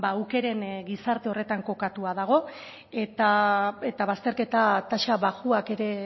aukeren gizarte horretan kokatua dago eta bazterketa tasa baxuak ere